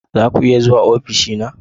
Za ku iya zuwa ofishina?